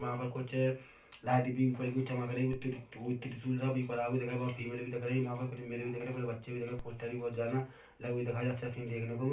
वहाँ पर कुछ लाईट भी ऊपर की चमक रही है ऊपर त्रिशूल त्रिशूल सा भी वहाँ फीमेल भी दिख रहे है वहाँ भी कुछ मेल भी दिख रहे है कुछ बच्चे भी दिख रहे हैं पोस्टर भी बहुत जाना अच्छा सीन देखने को मिल --